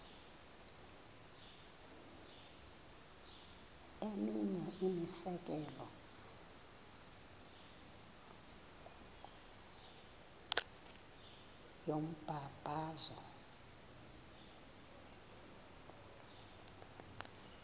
eminye imizekelo yombabazo